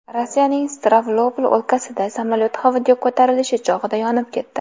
Rossiyaning Stavropol o‘lkasida samolyot havoga ko‘tarilish chog‘ida yonib ketdi.